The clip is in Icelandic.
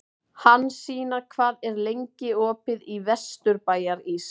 Hansína, hvað er lengi opið í Vesturbæjarís?